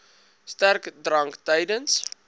sterk drank tydens